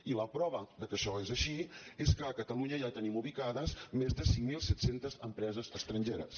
i la prova que això és així és que a catalunya ja tenim ubicades més de cinc mil set cents empreses estrangeres